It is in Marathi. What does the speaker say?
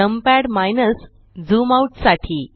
नमपॅड - ज़ूम आउट साठी